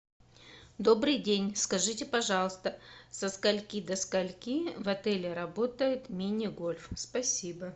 добрый день скажите пожалуйста со скольки до скольки в отеле работает мини гольф спасибо